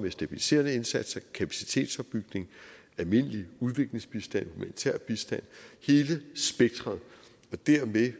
med stabiliserende indsatser kapacitetsopbygning almindelig udviklingsbistand humanitær bistand hele spektret og dermed